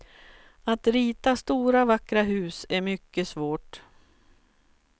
Att rita stora vackra hus är mycket svårt.